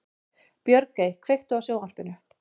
Björgey, kveiktu á sjónvarpinu.